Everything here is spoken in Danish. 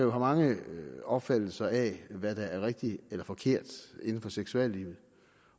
mange opfattelser af hvad der er rigtigt og forkert inden for seksuallivet